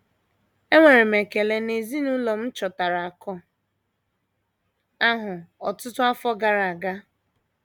Enwere m ekele na ezinụlọ m chọtara akụ̀ ahụ ọtụtụ afọ gara aga.